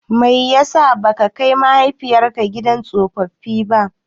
Mai yasa baka kai mahaifinka gidan tsofaffi ba?